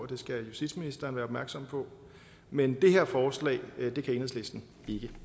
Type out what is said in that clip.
det skal justitsministeren være opmærksom på men det her forslag kan enhedslisten ikke